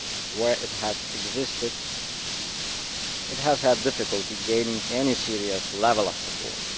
Where it has existed it has had difficulty gaining any serious level of support.